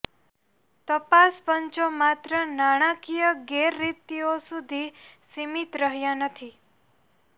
તપાસ પંચો માત્ર નાણાકીય ગેરરીતિઓ સુધી સીમિત રહ્યાં નથી